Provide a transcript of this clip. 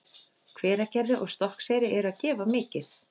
Hveragerði og Stokkseyri eru að gefa mikið.